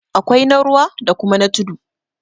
awkai na ruwa da kuma na tudu